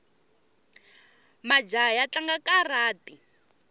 majaha ya tlanga karati